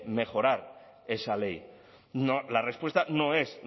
mejorar esa ley la respuesta no es